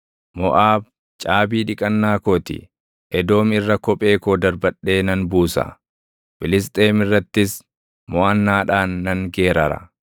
Moʼaab caabii dhiqannaa koo ti; Edoom irra kophee koo darbadhee nan buusa; Filisxeem irrattis moʼannaadhaan nan geerara.”